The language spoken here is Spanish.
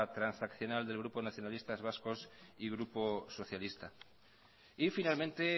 transaccional del grupo nacionalistas vascos y grupo socialistas y finalmente